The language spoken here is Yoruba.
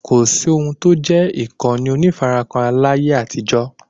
kòsí ohun tó n jẹ́ ìkànnì onífarakínra láyé àtijó